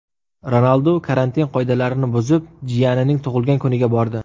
Ronaldu karantin qoidalarini buzib jiyanining tug‘ilgan kuniga bordi.